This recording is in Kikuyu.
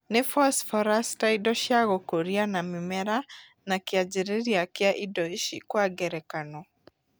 Nĩ phosphorus ta indo cia gũkũria na mĩmera na kĩanjĩrĩria kia indo ici Kwa ngerekano